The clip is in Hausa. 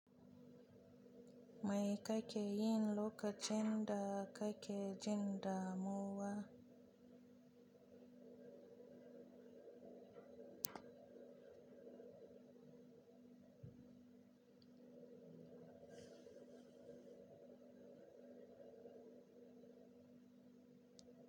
Mai kake yin lokacin da kake jin damuwa?